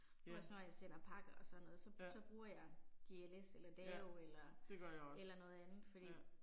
Også når jeg sender pakker og sådan noget, så så bruger jeg GLS eller DAO eller eller noget andet fordi